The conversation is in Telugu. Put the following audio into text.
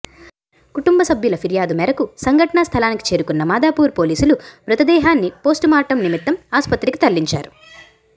కుటుంబ సభ్యుల ఫిర్యాదు మేరకు సంఘటన స్థలానికి చేరుకున్న మాదాపూర్ పోలీసులు మృతదేహాన్ని పోస్టుమార్టం నిమిత్తం ఆస్పత్రికి తరలించారు